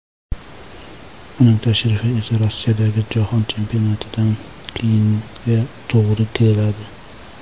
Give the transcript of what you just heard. Uning tashrifi esa Rossiyadagi Jahon Chempionatidan keyinga to‘g‘ri keladi.